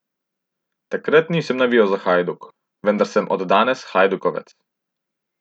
Takrat nisem navijal za Hajduk, vendar sem od danes hajdukovec.